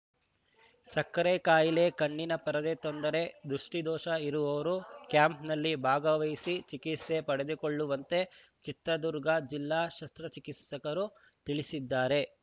ಸಕ್ಕರೆ ಕಾಯಿಲೆ ಕಣ್ಣಿನ ಪರದೆ ತೊಂದರೆ ದೃಷ್ಟಿದೋಷ ಇರುವವರು ಕ್ಯಾಂಪ್‌ನಲ್ಲಿ ಭಾಗವಹಿಸಿ ಚಿಕಿತ್ಸೆ ಪಡೆದುಕೊಳ್ಳುವಂತೆ ಚಿತ್ರದುರ್ಗ ಜಿಲ್ಲಾ ಶಸ್ತ್ರಚಿಕಿತ್ಸಕರು ತಿಳಿಸಿದ್ದಾರೆ